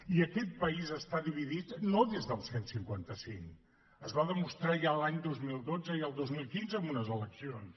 i aquest país està dividit no des del cent i cinquanta cinc es va demostrar ja l’any dos mil dotze i el dos mil quinze en unes eleccions